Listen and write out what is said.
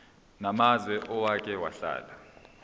namazwe owake wahlala